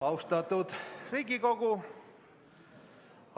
Austatud Riigikogu!